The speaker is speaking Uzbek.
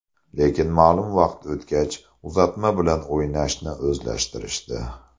Lekin, ma’lum vaqt o‘tgach uzatma bilan o‘ynashni o‘zlashtirishdi.